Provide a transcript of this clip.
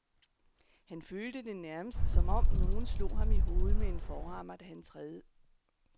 Han følte det nærmest, som om nogen slog ham i hovedet med en forhammer, da han tredive.